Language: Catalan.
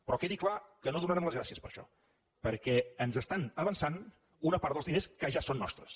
però quedi clar que no donarem les gràcies per això perquè ens estan avançant una part dels diners que ja són nostres